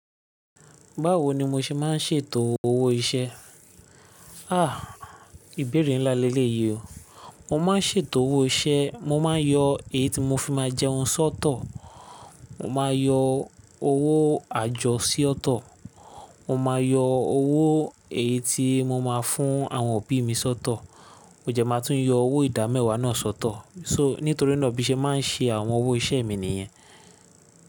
Báwo ni mo ṣe máa ń ṣètò owó iṣẹ́? Ìbéèrè ńlá léléyi o. Mo máa ń ṣètò owó iṣẹ́, mo máa ń yọ èyí tí mo fi máa jẹun sọ́tọ̀, mo máa yọ owó àjọ sí ọ́tọ́, mo máa yọ owó èyí tí mo máa fún àwọn òbí mi sọ́tọ̀, mó jẹ́ máa tún yọ owó ìdámẹ́wàá náà sọ́tọ̀. So, nítorí náà bí iṣẹ́ máa ń ṣe àwọn owó iṣẹ́ mi nìyẹn.